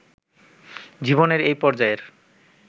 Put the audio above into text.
জীবনের এই পর্যায়ের